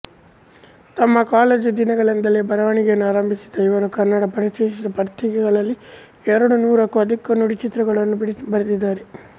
ತಮ್ಮ ಕಾಲೇಜು ದಿನಗಳಿಂದಲೇ ಬರವಣಿಗೆಯನ್ನು ಆರಂಭಿಸಿದ ಇವರು ಕನ್ನಡದ ಪ್ರತಿಷ್ಠಿತ ಪತ್ರಿಕೆಗಳಲ್ಲಿ ಎರಡು ನೂರಕ್ಕೂ ಅಧಿಕ ನುಡಿಚಿತ್ರಗಳನ್ನು ಬರೆದಿದ್ದಾರೆ